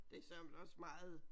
Det er søreme da også meget